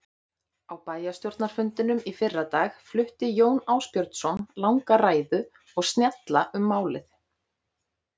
Á bæjarstjórnarfundinum í fyrradag flutti Jón Ásbjörnsson langa ræðu og snjalla um málið.